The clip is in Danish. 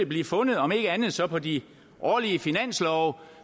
blive fundet om ikke andet så på de årlige finanslove